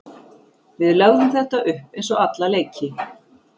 Við lögðum þetta upp eins og alla leiki.